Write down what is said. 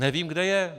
Nevím, kde je.